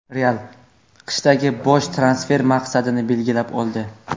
"Real" qishdagi bosh transfer maqsadini belgilab oldi.